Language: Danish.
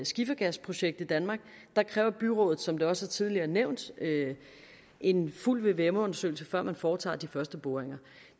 skifergasprojekt i danmark kræver byrådet som det også tidligere nævnt en fuld vvm undersøgelse før man foretager de første boringer